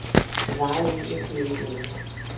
Det varede imidlertid ikke længe.